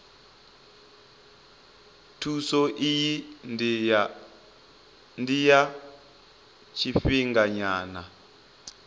thuso iyi ndi ya tshifhinganyana